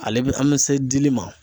Ale be an be se dili ma.